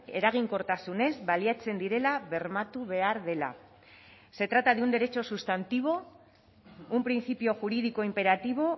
eraginkortasunez baliatzen direla bermatu behar dela se trata de un derecho sustantivo un principio jurídico imperativo